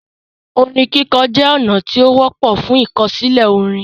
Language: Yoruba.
Orin kikọ jẹ ọna ti o wọpọ fun ikosile orin.